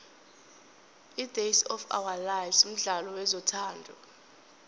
idays of ourlife mdlalo wezothando